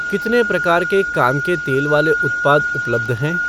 कितने प्रकार के कान के तेल वाले उत्पाद उपलब्ध हैं?